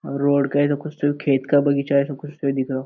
और रोड का है सब कुछ खेत का बगीचा है सब कुछ सही दिख रहो।